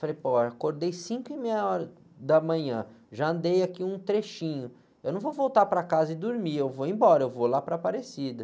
Falei, pô, acordei cinco e meia horas da manhã, já andei aqui um trechinho, eu não vou voltar para casa e dormir, eu vou embora, eu vou lá para a Aparecida.